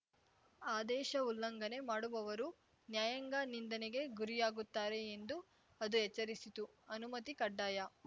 ಆದೇಶ ಉಲ್ಲಂಘನೆ ಮಾಡುವವರು ನ್ಯಾಯಾಂಗ ನಿಂದನೆಗೆ ಗುರಿಯಾಗುತ್ತಾರೆ ಎಂದು ಅದು ಎಚ್ಚರಿಸಿತು ಅನುಮತಿ ಕಡ್ಡಾಯ